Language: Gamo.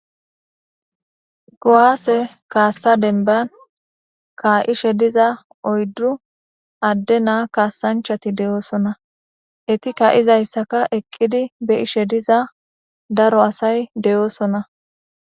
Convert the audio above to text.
Kuwaase kaassa denban kaa'ishe diza oyddu adde naa kaasanchati de'oosona eti ka'izayssaka eqqidi be'ishe diza daro asay de'oosona